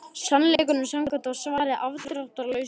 Sannleikanum samkvæmt var svarið afdráttarlaust nei.